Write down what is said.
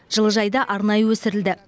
жылыжайда арнайы өсірілді